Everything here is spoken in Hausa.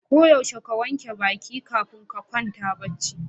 Ko yaushe ka wanke baƙi kafin ka kwanta bacci.